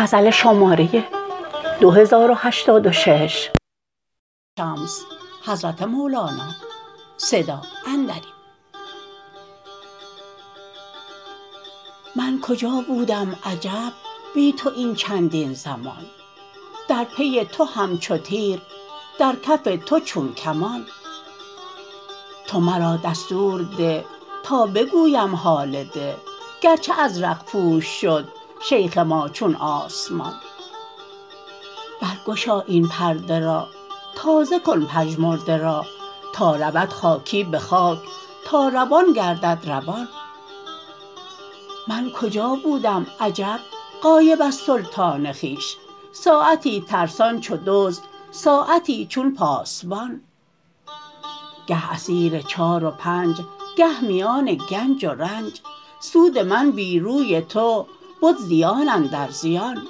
من کجا بودم عجب بی تو این چندین زمان در پی تو همچو تیر در کف تو چون کمان تو مرا دستور ده تا بگویم حال ده گرچه ازرق پوش شد شیخ ما چون آسمان برگشا این پرده را تازه کن پژمرده را تا رود خاکی به خاک تا روان گردد روان من کجا بودم عجب غایب از سلطان خویش ساعتی ترسان چو دزد ساعتی چون پاسبان گه اسیر چار و پنج گه میان گنج و رنج سود من بی روی تو بد زیان اندر زیان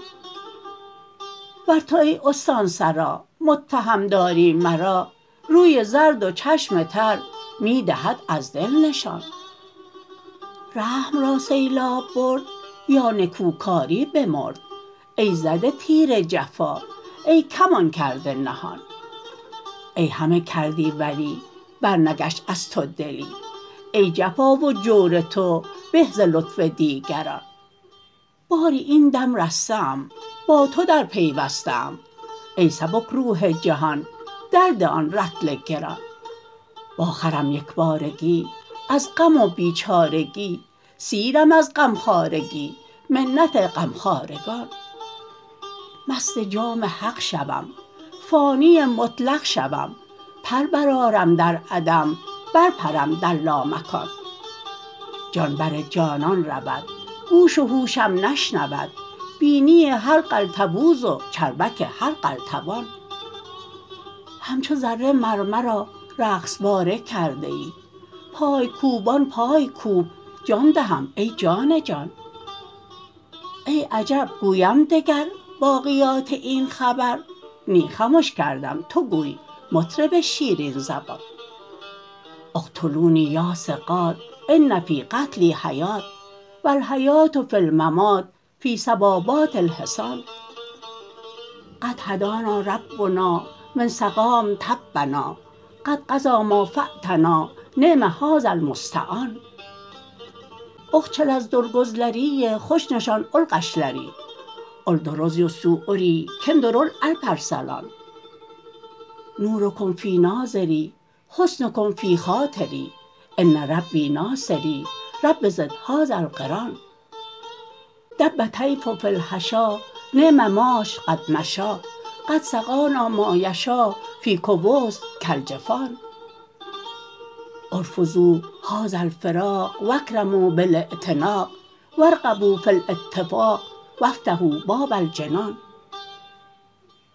ور تو ای استاسرا متهم داری مرا روی زرد و چشم تر می دهد از دل نشان رحم را سیلاب برد یا نکوکاری بمرد ای زده تیر جفا ای کمان کرده نهان ای همه کردی ولی برنگشت از تو دلی ای جفا و جور تو به ز لطف دیگران باری این دم رسته ام با تو درپیوسته ام ای سبک روح جهان درده آن رطل گران واخرم یک بارگی از غم و بیچارگی سیرم از غمخوارگی منت غمخوارگان مست جام حق شوم فانی مطلق شوم پر برآرم در عدم برپرم در لامکان جان بر جانان رود گوش و هوشم نشنود بینی هر قلتبوز و چربک هر قلتبان همچو ذره مر مرا رقص باره کرده ای پای کوبان پای کوب جان دهم ای جان جان ای عجب گویم دگر باقیات این خبر نی خمش کردم تو گوی مطرب شیرین زبان اقتلونی یا ثقات ان فی قتلی حیات و الحیات فی الممات فی صبابات الحسان قد هدانا ربنا من سقام طبنا قد قضی ما فاتنا نعم هذا المستعان آقچالار دور گؤزلری خوش نسا اول قاشلاری اؤلدیره ریز سواری کیمدیر اول آلپرسلان نورکم فی ناظری حسنکم فی خاطری ان ربی ناصری رب زد هذا القرآن دب طیف فی الحشا نعم ماش قد مشا قد سقانا ما یشا فی کأس کالجفان ارفضوا هذا الفراق و اکرموا بالاعتناق و ارغبوا فی الاتفاق و افتحوا باب الجنان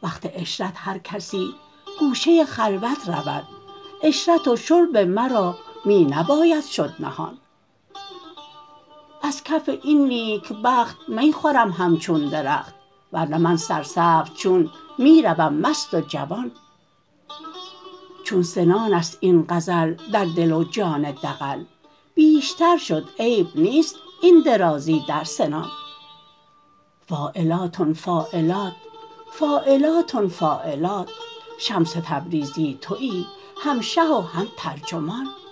وقت عشرت هر کسی گوشه خلوت رود عشرت و شرب مرا می نباید شد نهان از کف این نیکبخت می خورم همچون درخت ور نه من سرسبز چون می روم مست و جوان چون سنان است این غزل در دل و جان دغل بیشتر شد عیب نیست این درازی در سنان فاعلاتن فاعلات فاعلاتن فاعلات شمس تبریزی توی هم شه و هم ترجمان